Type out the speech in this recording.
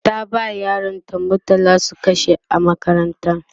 ta ba yaran ta murtala su kashe a makaranta